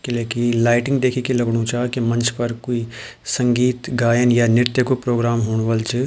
किलेकी लाइटिंग देखिके लगणु चा की मंच पर कुई संगीत गायन या नृत्य कु प्रोग्राम हूणू वल च।